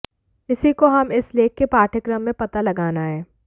इसी को हम इस लेख के पाठ्यक्रम में पता लगाना है